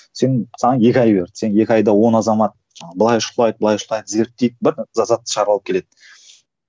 сен саған екі ай берді сен екі айда он азамат жаңағы былай шұқылайды былай шұқылайды зерттейді бір затты шығарып алып келеді